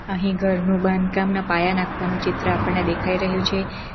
અહીં ઘરનું બાંધકામ ના પાયા નાખવાનું ચિત્ર આપણને દેખાઈ રહ્યું છે.